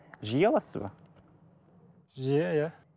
жиі аласыз ба жиі иә